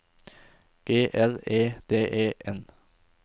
G L E D E N